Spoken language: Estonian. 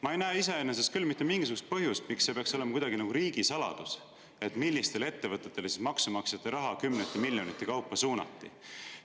Ma ei näe iseenesest küll mitte mingisugust põhjust, miks see peaks olema kuidagi nagu riigisaladus, millistele ettevõtetele siis maksumaksjate raha kümnete miljonite kaupa suunati.